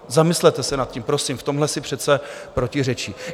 Zamyslete se nad tím, prosím, v tomhle si přece protiřečí.